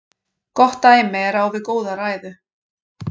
Gott dæmi er á við góða ræðu.